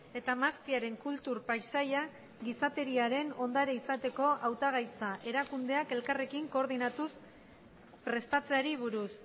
eta mahastiaren kultur paisaia gizateriaren ondare izateko hautagaitza erakundeak elkarrekin koordinatuz prestatzeari buruz